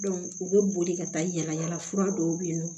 u bɛ boli ka taa yala yala fura dɔw bɛ yen nɔ